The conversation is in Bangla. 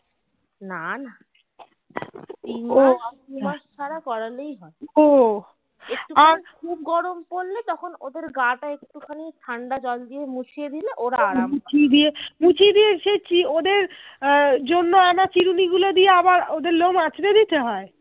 মুছিয়ে দিয়ে দিয়ে এসেছি ওদের জন্য আমাকে আহ ছুড়িনি দিয়ে ওদে লোম আঁচড়ে দিতে হয়।